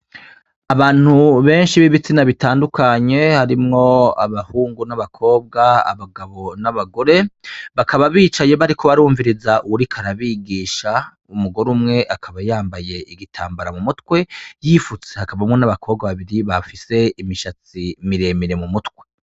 Abantu benshi bibitsina bitandukanye harimwo abahungu n'abakobwa, abagabo n'abagore, bakaba bicaye bariko barumviriza uwuriko arabigisha umugore umwe akaba yambaye igitambara mumutwe yipfutse hakabamwo n'abakobwa babiri bafise imishatsi miremire mumutwe.